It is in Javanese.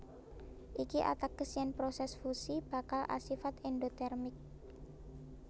Iki ateges yèn prosès fusi bakal asifat èndotèrmik